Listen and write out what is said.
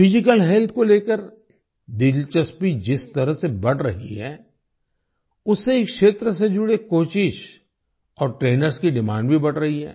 physical health को लेकर दिलचस्पी जिस तरह से बढ़ रही है उससे इस क्षेत्र से जुड़े कोचेस और ट्रेनर्स की डिमांड भी बढ़ रही है